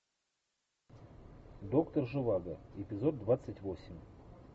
доктор живаго эпизод двадцать восемь